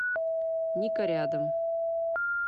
ника рядом